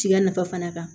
Tiga nafa fana kan